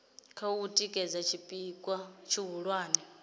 kha u tikedza tshipikwa tshihulwane